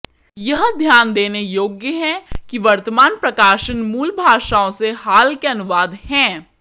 यह ध्यान देने योग्य है कि वर्तमान प्रकाशन मूल भाषाओं से हाल के अनुवाद हैं